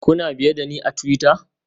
Kuna biye da ni a twitter?